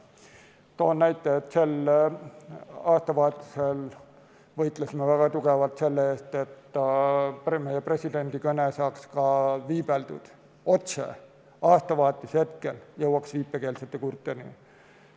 Toon näite, et me sel aastavahetusel võitlesime väga tugevalt selle eest, et presidendi kõne saaks ka otse viibeldud ja aastavahetuse hetkel jõuaks viipekeelsete kurtideni.